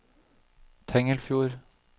Tengelfjord